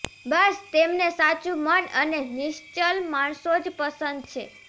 બસ તેમને સાચું મન અને નિશ્ચલ માણસો જ પસંદ છે